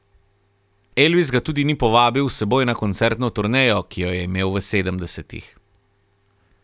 Elvis ga tudi ni povabil s seboj na koncertno turnejo, ki jo je imel v sedemdesetih.